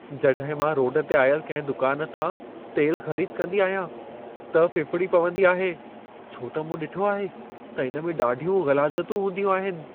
जॾहिं मां रोड ते आयल कंहिं दुकान तां तेल ख़रीद कंदी आहियां, त फ़िफ़िड़ी पवंदी आहे छो त मूं ॾिठो आहे त इन में ॾाढियूं ग़लाज़तूं हूंदियूं आहिनि।